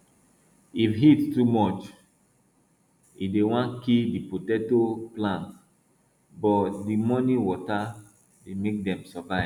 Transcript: if heat too much e dey wan kill di potato plant but di morning water dey make dem survive